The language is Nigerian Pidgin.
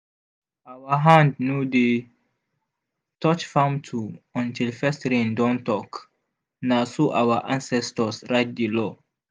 our hand no dey touch farm tool until first rain don talk na so our ancestors write di law.